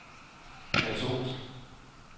katolske